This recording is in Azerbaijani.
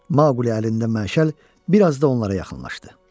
Maquli əlində məşəl bir az da onlara yaxınlaşdı.